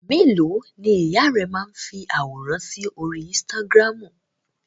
Ẹ̀ mélòó ni ìyá rẹ máa ń fi àwòrán sí orí Instagram?